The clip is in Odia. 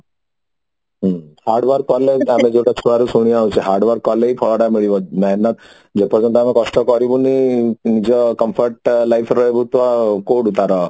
ହୁଁ hard work କଲେ ଆମେ ଯୋଉଟା ଛୁଆ ରୁ ଶୁଣି ଆଉଛୁ hard work କଲେ ହିଁ ଫଳ ଟା ମିଳିବ ମେହେନତ ଆମେ କଷ୍ଟ କରିବୁନି ନିଜ comfort life ରୁ ତ କୋଉଠୁ ତାର